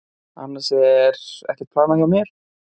Annars er ekkert planað hjá mér.